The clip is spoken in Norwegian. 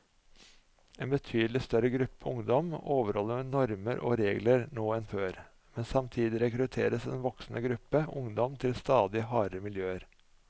En betydelig større gruppe ungdom overholder normer og regler nå enn før, men samtidig rekrutteres en voksende gruppe ungdom til stadig hardere miljøer.